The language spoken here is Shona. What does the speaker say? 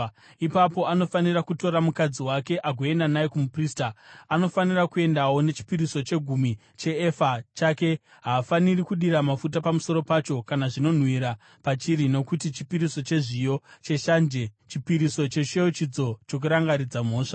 ipapo anofanira kutora mukadzi wake agoenda naye kumuprista. Anofanira kuendawo nechipiriso chechegumi cheefa youpfu hwebhari pachinzvimbo chake. Haafaniri kudira mafuta pamusoro pacho kana zvinonhuhwira pachiri, nokuti chipiriso chezviyo cheshanje, chipiriso chechiyeuchidzo chokurangaridza mhosva.